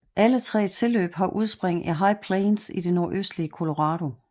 Alle tre tilløb har udspring i High Plains i det nordøstlige Colorado